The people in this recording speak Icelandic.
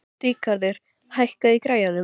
Ríkarður, hækkaðu í græjunum.